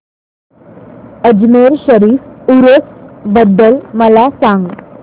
अजमेर शरीफ उरूस बद्दल मला सांग